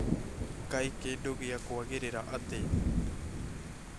Kaĩ kĩndũ gĩakwagĩrĩra atĩa?